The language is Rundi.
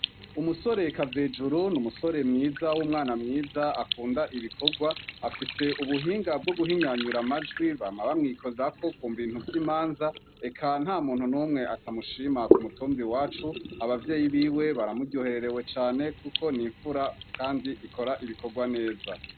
Umusore Kavejuru, ni umusore mwiza w' umwana mwiza akunda ibikorwa, afise ubuhinga bwo guhinyanyura amajwi, bama bamwikorako ku bintu vy' imanza, eka ntamuntu n' umwe atamushima ku mutumba iwacu, abavyeyi biwe baramuryohererewe cane kuko ni infura kandi ikora ibikorwa neza.